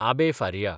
Abbe Faria